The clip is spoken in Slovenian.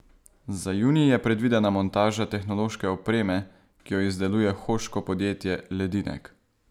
Za junij je predvidena montaža tehnološke opreme, ki jo izdeluje hoško podjetje Ledinek.